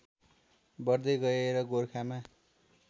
बढ्दै गए र गोरखामा